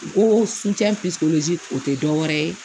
N ko o tɛ dɔwɛrɛ ye